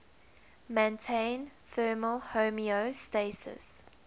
maintain thermal homeostasis